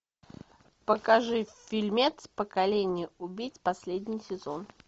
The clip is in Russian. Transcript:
покажи фильмец поколение убийц последний сезон